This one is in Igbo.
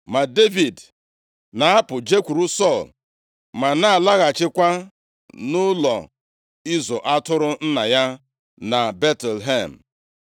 Ma Devid na-apụ jekwuru Sọl, ma na-alaghachikwa nʼụlọ ịzụ atụrụ nna ya na Betlehem.